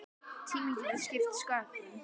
Tíminn getur skipt sköpum.